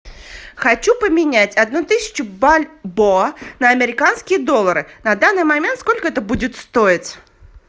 хочу поменять одну тысячу бальбоа на американские доллары на данный момент сколько это будет стоить